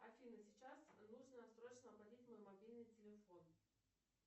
афина сейчас нужно срочно оплатить мой мобильный телефон